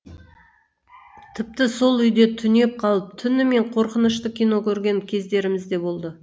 тіпті сол үйде түнеп қалып түнімен қорқынышты кино көрген кездерімізде болды